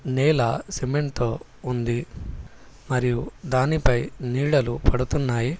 నేల సిమెంట్ తో ఉంది మరియు దానిపై నీడలు పడుతున్నాయి.